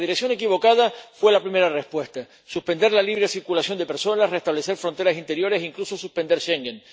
En la dirección equivocada fue la primera respuesta suspender la libre circulación de personas, reestablecer fronteras interiores e incluso suspender Schengen.